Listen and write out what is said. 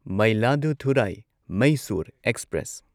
Mayiladuthurai Mysore express